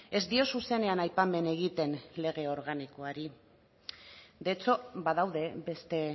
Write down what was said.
ez dio zuzenean aipamen egiten lege organikoari de hecho badaude beste